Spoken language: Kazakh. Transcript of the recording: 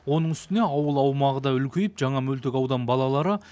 оның үстіне ауыл аумағы да үлкейіп жаңа мөлтекаудан балалары